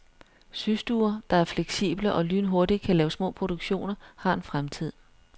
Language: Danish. Systuer, der er fleksible og lynhurtigt kan lave små produktioner, har en fremtid.